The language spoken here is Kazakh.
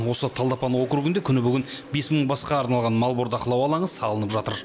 осы талдыапан округінде күні бүгін бес мың басқа арналған мал бордақылау алаңы салынып жатыр